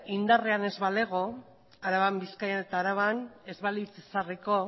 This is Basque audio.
indarrean ez balego araban bizkaian eta araban ez balitz ezarriko